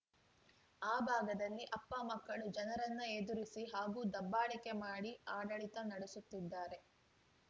ಆ ಭಾಗದಲ್ಲಿ ಅಪ್ಪ ಮಕ್ಕಳು ಜನರನ್ನ ಎದುರಿಸಿ ಹಾಗೂ ದಬ್ಬಾಳಿಕೆ ಮಾಡಿ ಆಡಳಿತ ನಡೆಸುತ್ತಿದ್ದಾರೆ